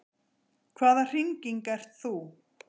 Hvaða hringing ert þú?